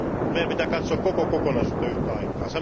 Meidän pitää katsoa koko kokonaisuutta yhtä aikaa.